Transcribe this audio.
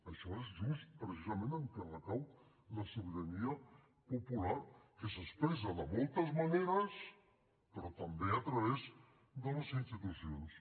això és just precisament en què recau la sobirania popular que s’expressa de moltes maneres però també a través de les institucions